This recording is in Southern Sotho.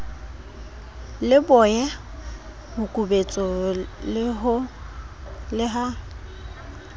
le boye mokubetso le ha